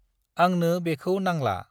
आंनो बेखौ नांला।